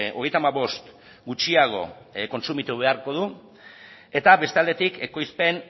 hogeita hamabost gutxiago kontsumitu beharko du eta beste aldetik ekoizpen